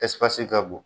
Ɛsipesi ka bon